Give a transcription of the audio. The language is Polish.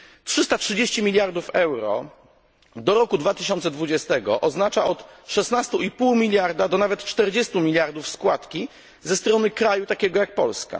330 miliardów euro do roku 2020 oznacza od 16,5 miliarda do nawet 40 miliardów składki ze strony kraju takiego jak Polska.